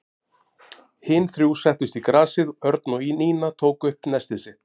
Hin þrjú settust í grasið og Örn og Nína tóku upp nestið sitt.